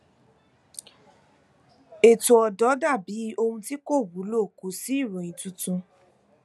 ètò ọdọ dà bí ohun tí kò wúlò kò sí ìròyìn tuntun